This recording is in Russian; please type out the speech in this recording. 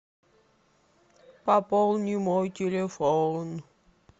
пополни мой телефон